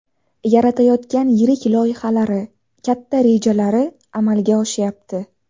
Yaratayotgan yirik loyihalari, katta rejalari amalga oshyapti.